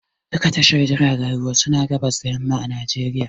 Duka tashar jiragen ruwa suna a gabas da yamma a Najeriya